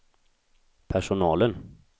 personalen